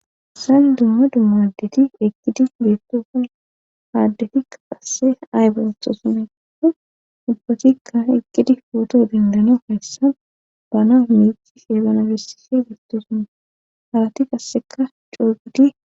Isan dumma dummadeti eqqidi biittofan haaddetikka qasse ay bontosumedu dubbatikka eqqidi pooto dindana hayssa bana miici heebana gessise gattesuma halati qasseka coogudi.